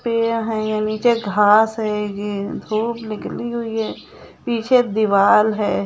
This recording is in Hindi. पेय है यह नीचे घास है पीछे दीवाल है।